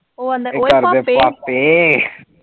ਉਹ ਆਂਦਾ ਓਏ ਪਾਪੇ, ਪਾਪੇ